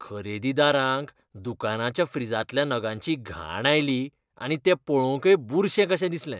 खरेदीदारांक दुकानाच्या फ्रिजांतल्या नगांची घाण आयली आनी ते पळोवंकय बुरशे कशे दिसले.